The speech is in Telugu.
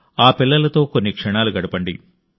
ఆ పిల్లలతో కొన్ని క్షణాలు గడపండి